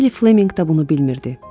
Stey Flemminq də bunu bilmirdi.